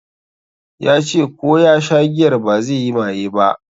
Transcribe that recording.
Ya ce ko ya sha giyar bazai yi maye ba